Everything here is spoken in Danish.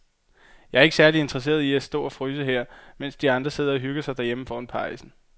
Jeg er ikke særlig interesseret i at stå og fryse her, mens de andre sidder og hygger sig derhjemme foran pejsen.